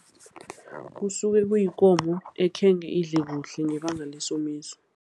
Kusuke kuyikomo ekhenge idle kuhle ngebanga lesomiso.